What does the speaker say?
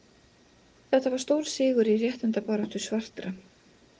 Þetta var stór sigur í réttindabaráttu svartra.